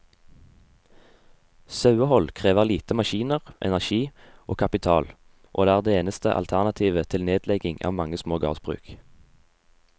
Sauehold krever lite maskiner, energi og kapital, og er det eneste alternativet til nedlegging av mange små gårdsbruk.